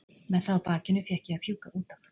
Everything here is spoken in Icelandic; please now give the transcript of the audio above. Með það á bakinu fékk ég að fjúka út af.